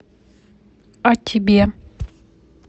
а тебе